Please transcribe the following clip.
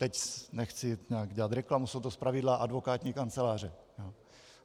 Teď nechci nějak dělat reklamu, jsou to zpravidla advokátní kanceláře.